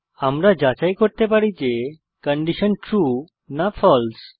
আমরা যাচাই করতে পারি যে কন্ডিশন ট্রু না ফালসে